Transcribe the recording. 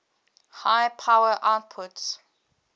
high power outputs